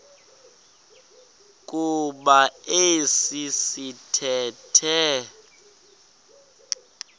kuba esi sithethe